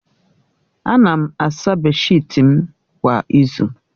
Ana m asa beeshịt m kwa izu